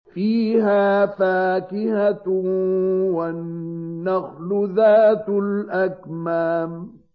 فِيهَا فَاكِهَةٌ وَالنَّخْلُ ذَاتُ الْأَكْمَامِ